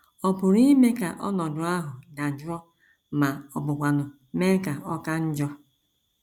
Ọ pụrụ ime ka ọnọdụ ahụ dajụọ ma ọ bụkwanụ mee ka ọ ka njọ.